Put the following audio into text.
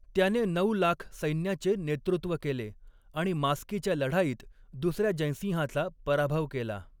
त्याने नऊ लाख सैन्याचे नेतृत्व केले आणि मास्कीच्या लढाईत दुसऱ्या जयसिंहाचा पराभव केला.